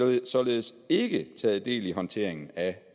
og således ikke taget del i håndteringen af